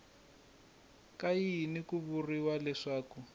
ka yini ku vuriwa leswaku